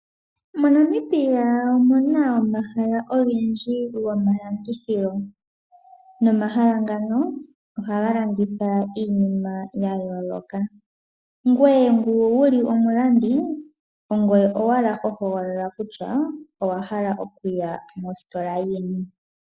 MoNamibia omu na omahala ogendji gomalandithilo nomahala ngano ohaga landitha iinima ya yoloka. Ngoye ngu wu li omulandi ongoye owala ho hogolola kutya owa hala okuya mositola yini.